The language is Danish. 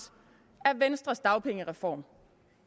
af venstres dagpengereform